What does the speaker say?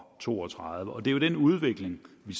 toogtredive det er jo den udvikling vi